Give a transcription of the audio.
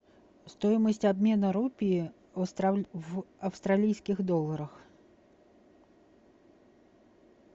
стоимость обмена рупии в австралийских долларах